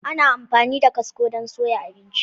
Ana amfani da kwasko don soya abinci.